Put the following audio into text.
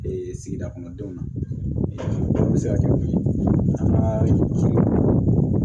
sigida kɔnɔ denw na se ka kɛ an ka